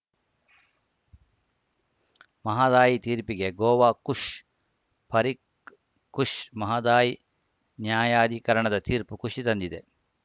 ಮಹದಾಯಿ ತೀರ್ಪಿಗೆ ಗೋವಾ ಖುಷ್‌ ಪರಿಕ್ ಖುಷ್‌ ಮಹದಾಯಿ ನ್ಯಾಯಾಧಿಕರಣದ ತೀರ್ಪು ಖುಷಿ ತಂದಿದೆ